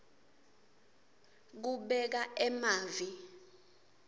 kubeka emavi